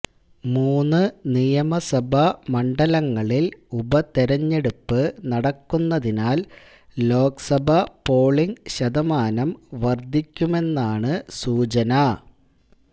മൂന്ന് നിയമസഭാ മണ്ഡലങ്ങളില് ഉപതെരഞ്ഞെടുപ്പ് നടക്കുന്നതിനാല് ലോക്സഭാ പോളിങ് ശതമാനം വര്ധിക്കുമെന്നാണ് സൂചന